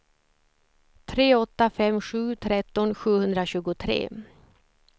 tre åtta fem sju tretton sjuhundratjugotre